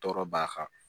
Tɔɔrɔ b'a kan